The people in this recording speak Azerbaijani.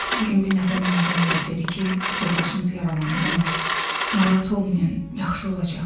Bu gün bir nəfər mənə zəng vurub dedi ki, yoldaşınız yaralanıb, amma narahat olmayın, yaxşı olacaq.